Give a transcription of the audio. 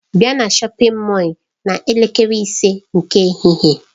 Bịa na shọpin Mọll n'elekere ise nke ehihie!